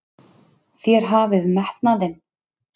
Þér hafið metnaðinn!